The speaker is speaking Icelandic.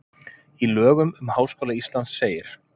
Í lögum um Háskóla Íslands segir: